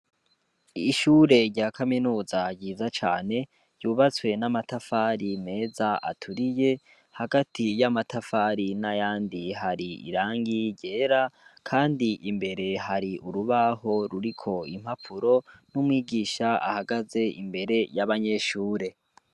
Ishure rya kaminuza ryiza cane yubatswe n'amatafari meza aturiye hagati y'amatafari na yandi hari irangi ryera, kandi imbere hari urubaho ruriko impapuro n'umwigisha ahagaze imbere y'abanyeshure.